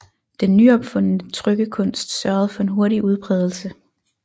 Den nyopfundne trykkekunst sørgede for en hurtig udbredelse